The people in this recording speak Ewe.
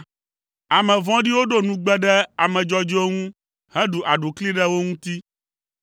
Ame vɔ̃ɖiwo ɖo nugbe ɖe ame dzɔdzɔewo ŋu heɖu aɖukli ɖe wo ŋuti.